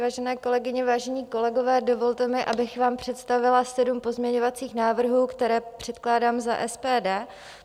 Vážené kolegyně, vážení kolegové, dovolte mi, abych vám představila sedm pozměňovacích návrhů, které předkládám za SPD.